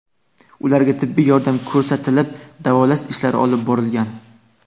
Ularga tibbiy yordam ko‘rsatilib, davolash ishlari olib borilgan.